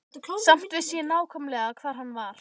Samt vissi ég nákvæmlega hvar hann var.